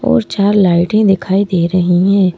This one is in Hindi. और चार लाइटें दिखाई दे रही हैं।